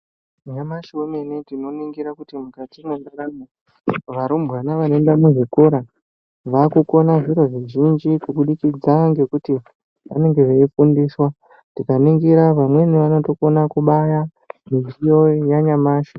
Nyamashi wemene tinoningira kuti mukati mundaramo varumbwana vanoenda muzvikora vava kukhona zviro zvizhinji kubudikidza nekuti vanenge veifundiswa tikaningira vamweni vano tokukhona kubaya mudziyo yanyamashi.